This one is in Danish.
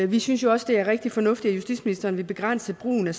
vi synes også det er rigtig fornuftigt at justitsministeren vil begrænse brugen af